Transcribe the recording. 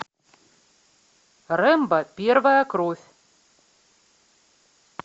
рэмбо первая кровь